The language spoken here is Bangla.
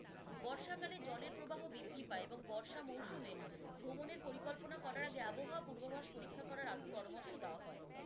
বর্ষাকালে জলের প্রবাহ বৃদ্ধি পায় এবং বর্ষা মৌসুমে ভ্রমণের পরিকল্পনা করার আগে আবহাওয়া পূর্ববাস পরীক্ষা করার পরামর্শ দাওয়া হয়।